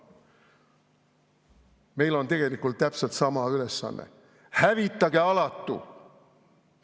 Meil on tegelikult täpselt sama ülesanne: hävitage alatu!